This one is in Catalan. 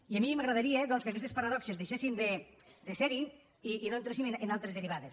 i a mi m’agradaria que aquestes paradoxes deixessin de ser hi i no entréssim en altres derivades